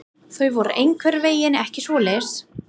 Þau voru einhvern veginn ekki svoleiðis.